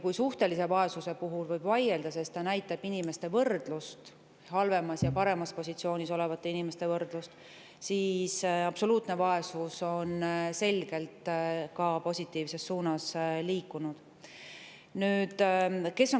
Kui suhtelise vaesuse puhul võib vaielda, sest see näitab inimeste võrdlust, halvemas ja paremas positsioonis olevate inimeste võrdlust, siis ka absoluutne vaesus on selgelt positiivses suunas liikunud.